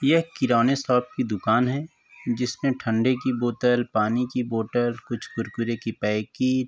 यह किराने शॉप की दुकान है जिसमें ठन्डे की बोतल पानी की बोतल कुछ कुरकुरे की पैकिट --